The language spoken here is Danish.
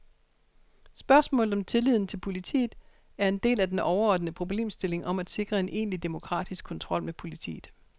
Spørgsmålet om tilliden til politiet er en del af den overordnede problemstilling om at sikre en egentlig demokratisk kontrol med politiet.